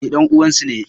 Ni ɗan uwan su ne.